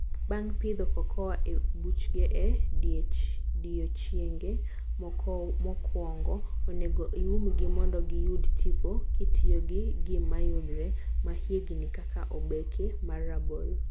Bnag' pihdo cocoa e buchge e odiechenge mokowongo, onego iumgi mondo giyud tipo kitiyo gi gigmayudre mahiegni kaka obeke mar rabolo.